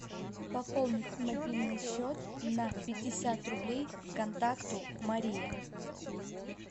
пополнить мобильный счет на пятьдесят рублей контакту мария